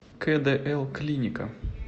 кэдээл клиника